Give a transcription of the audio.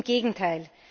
Im Gegenteil.